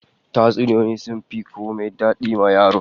Tatsuniyoyi sun fi komai dadi wa yaro